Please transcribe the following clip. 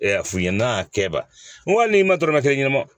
f'u ɲɛnɛ a kɛba n ko hali n'i ma dɔrɔmɛ kelen d'a ma